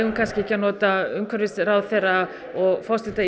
kannski ekki að nota umhverfisráðherra og forsetann